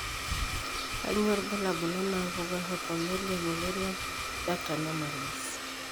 Kainyio irbulabul onaapuku eHypomelia mullerian duct anomalies?